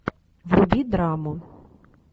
вруби драму